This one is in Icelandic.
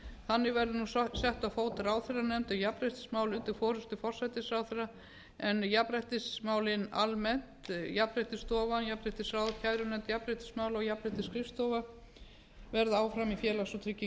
þannig verður nú sett á fót ráðherranefnd um jafnréttismál undir forystu forsætisráðherra en jafnréttismálin almennt jafnréttisstofa jafnréttisráð kærunefnd jafnréttismála og jafnréttisskrifstofa verða áfram í félags og